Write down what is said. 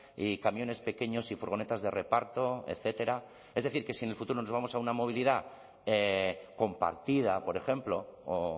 y camiones pequeños y furgonetas de reparto etcétera es decir que si en el futuro nos vamos a una movilidad compartida por ejemplo o